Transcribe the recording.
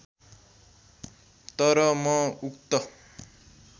तर म उक्त